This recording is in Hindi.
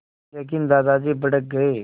लेकिन दादाजी भड़क गए